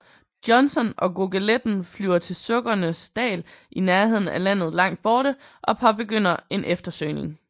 Johnson og Goggeletten flyver til Sukkenes Dal i nærheden af landet Langt Borte og påbegynder en eftersøgning